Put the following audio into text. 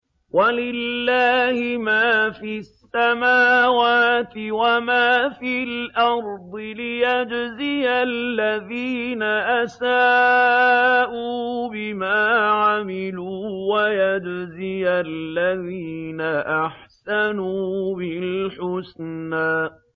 وَلِلَّهِ مَا فِي السَّمَاوَاتِ وَمَا فِي الْأَرْضِ لِيَجْزِيَ الَّذِينَ أَسَاءُوا بِمَا عَمِلُوا وَيَجْزِيَ الَّذِينَ أَحْسَنُوا بِالْحُسْنَى